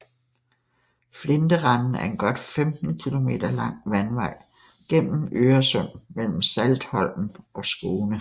Flinterenden er en godt 15 kilometer lang vandvej gennem Øresund mellem Saltholm og Skåne